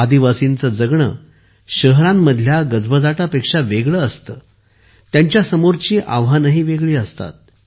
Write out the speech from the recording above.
आदिवासींचे जगणे शहरांमधल्या गजबजाटापेक्षा वेगळे असते त्यांच्यासमोरची आव्हानेही वेगळी असतात